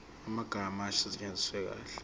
amagama asetshenziswe kahle